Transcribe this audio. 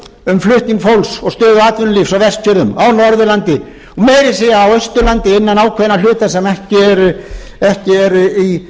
um flutning fólks og stöðu atvinnulífs á vestfjörðum á norðurlandi meira að segja á austurlandi innan ákveðinna hluta sem ekki eru í